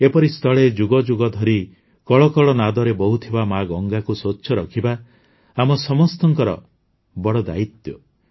ଏପରିସ୍ଥଳେ ଯୁଗଯୁଗ ଧରି କଳକଳ ନାଦରେ ବହୁଥିବା ମାଆ ଗଙ୍ଗାକୁ ସ୍ୱଚ୍ଛ ରଖିବା ଆମ ସମସ୍ତଙ୍କର ବଡ଼ ଦାୟିତ୍ୱ